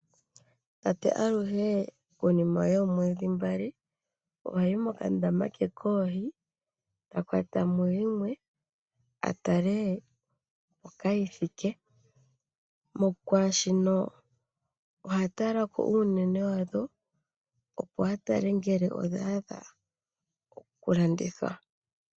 Tate aluhe konima yoomwedhi mbali, Ohayi moka ndama ke koohi eta kwata mo yimwe. Atale mpoka yi thike . Oha tala uunene wadho opo atale ngele odhaadha oku landithwa.